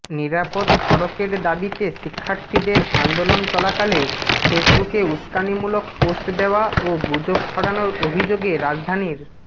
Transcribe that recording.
নিরাপদ সড়কের দাবিতে শিক্ষার্থীদের আন্দোলন চলাকালে ফেসবুকে উসকানিমূলক পোষ্ট দেওয়া ও গুজব ছড়ানোর অভিযোগে রাজধানীর